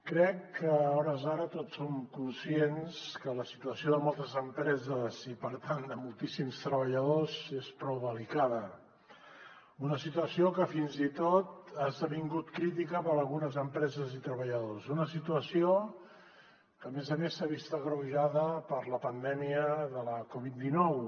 crec que a hores d’ara tots som conscients que la situació de moltes empreses i per tant de moltíssims treballadors és prou delicada una situació que fins i tot ha esdevingut crítica per a algunes empreses i treballadors una situació que a més a més s’ha vist agreujada per la pandèmia de la covid dinou